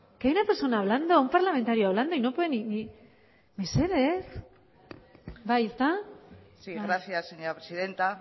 que hay una persona hablando un parlamentario hablando y no puede ni mesedez bai ezta sí gracias señora presidenta